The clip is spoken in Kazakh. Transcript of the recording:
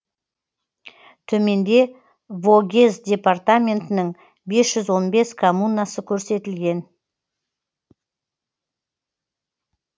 төменде вогез департаментінің бес жүз он бес коммунасы көрсетілген